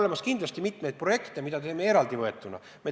Samas on olemas mitmeid projekte, mida me teeme n-ö eraldi võetuna.